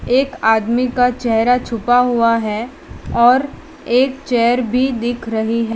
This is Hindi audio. एक आदमी का चेहरा छुपा हुआ है और एक चेयर भी दिख रही --